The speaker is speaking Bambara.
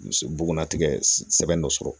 Bugunnatigɛ sɛbɛn dɔ sɔrɔ